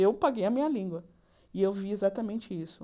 Eu paguei a minha língua e eu vi exatamente isso.